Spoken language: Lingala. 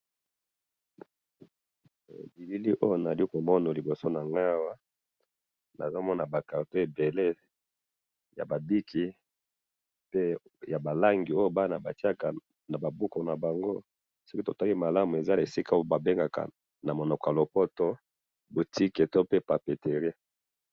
Eh! Bilili oyo nazali komona liboso nangayi awa, nazomona ba carton ebele yaba bic, pe yaba lango oyo bana batiyaka naba buku nabango, soki totali malamu eza na esika oyo babengaka namunoko yalopoto boutique to papeterie